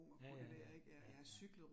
Ja ja ja, ja ja